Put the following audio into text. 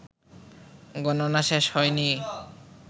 গণনা শেষ হয়নি